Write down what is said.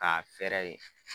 K'a fɛrɛ